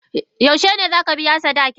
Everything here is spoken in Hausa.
Yaushe ne za ka biya sadakinta?